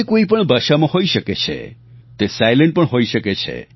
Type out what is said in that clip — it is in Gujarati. તે કોઈપણ ભાષામાં હોઈ શકે છે તે સાઇલેન્ટ પણ હોઈ શકે છે